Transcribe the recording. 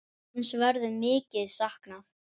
Hans verður mikið saknað.